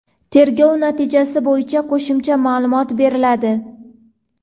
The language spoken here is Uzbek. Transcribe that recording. Tergov natijasi bo‘yicha qo‘shimcha ma’lumot beriladi.